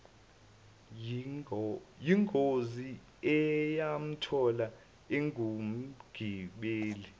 yingozi eyamthola engumgibeli